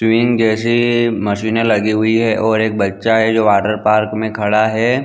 टवीइंग जैसि मशीने लगी हुई है। और एक बच्चा है जो वाटर पार्क में खड़ा है।